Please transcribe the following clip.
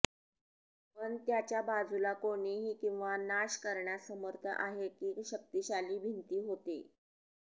पण त्याच्या बाजूला कोणीही किंवा नाश करण्यास समर्थ आहे की शक्तिशाली भिंती होते